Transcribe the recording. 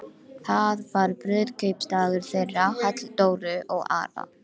Það var brúðkaupsdagur þeirra Halldóru og Ara.